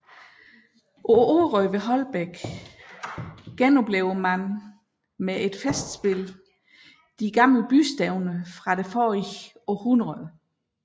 På Orø ved Holbæk genoplever man med et festspil de gamle bystævner fra forrige århundrede